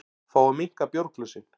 Fá að minnka bjórglösin